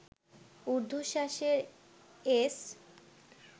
ঊর্ধ্বশ্বাসে S